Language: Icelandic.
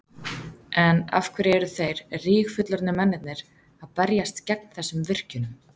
En af hverju eru þeir rígfullorðnir mennirnir að berjast gegn þessum virkjunum?